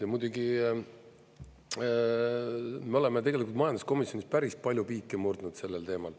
Ja muidugi, me oleme tegelikult majanduskomisjonis päris palju piike murdnud sellel teemal.